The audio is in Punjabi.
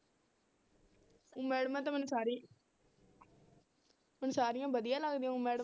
ਊਂ ਮੈਡਮਾਂ ਤਾਂ ਮੈਨੂੰ ਸਾਰੀਆਂ ਮੈਨੂੰ ਸਾਰੀਆਂ ਵਧੀਆ ਲੱਗਦੀਆਂ ਊਂ madam